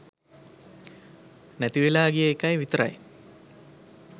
නැතිවෙලා ගිය එකයි විතරයි.